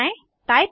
fill पर जाएँ